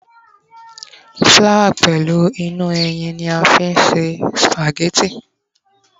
flower pẹlu inú ẹyìn ni a fi n ṣe spaghetti